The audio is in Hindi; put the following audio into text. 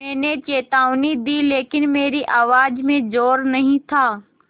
मैंने चेतावनी दी लेकिन मेरी आवाज़ में ज़ोर नहीं था